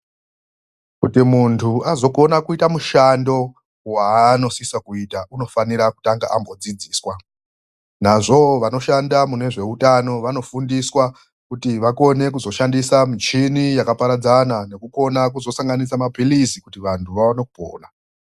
Kuti mundu azokona kuita mushando waanosisa kuita unofanira kutanga ambodzidziswa. Nazvoo vanoshanda munezveutano vanofundiswa kuti vakone kuzoshandisa michini yakaparadzana nekukona sanganisa mapirizi kuti vandu vaone kupona